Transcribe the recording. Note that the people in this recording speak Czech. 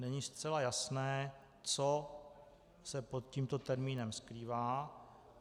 Není zcela jasné, co se pod tímto termínem skrývá.